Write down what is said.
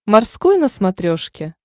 морской на смотрешке